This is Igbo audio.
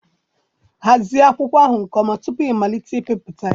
Hazie akwụkwọ ahụ nke ọma tupu ịmalite mbipụta